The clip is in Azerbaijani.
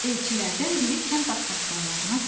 Elçilərdən biri kənd ağsaqqallarına dedi: